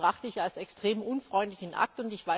Das betrachte ich als extrem unfreundlichen Akt.